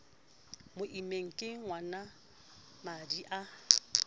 mo immeng ke ngwanamadi a